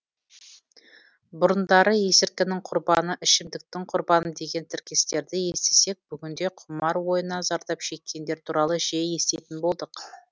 бұрындары есірткінің құрбаны ішімдіктің құрбаны деген тіркестерді естісек бүгінде құмар ойыннан зардап шеккендер туралы жиі еститін болдық